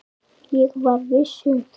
Ég var viss um það.